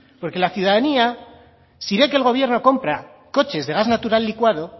porque la ciudadanía si ve que el gobierno compra coches de gas natural licuado